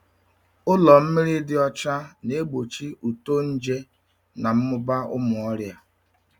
Ụlọ mmiri dị ọcha na-egbochi uto nje na mmụba ụmụ ọrịa.